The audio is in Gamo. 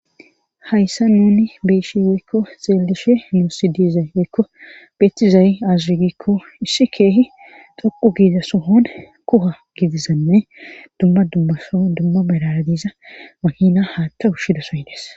hayssa nuni beyshe weykko xeelishe nuusi dizay woykko betizayi aze gikko issi keehi dhoqu giiza sohon kuha gidizanne dumma dumma soho dumma malara diza makina haatta ushshido soy des